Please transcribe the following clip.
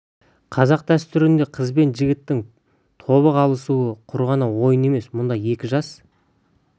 қазақ дәстүрінде қыз бен жігіттің тобық алысуы құр ғана ойын емес мұнда екі жас-